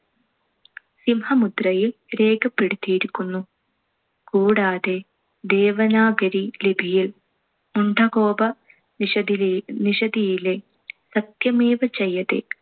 സിംഹമുദ്രയിൽ രേഖപ്പെടുത്തിയിരിക്കുന്നു. കൂടാതെ ദേവനാഗരി ലിപിയിൽ മുണ്ഡകോപ~ നിഷതിലെ~ നിഷതിയിലെ സത്യമേവ ജയതെ